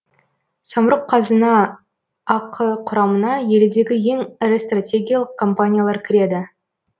самұрық қазына ақ құрамына елдегі ең ірі стратегиялық компаниялар кіреді